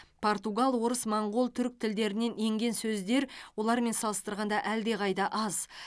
португал орыс моңғол түрік тілдерінен енген сөздер олармен салыстырғанда әлдеқайда аз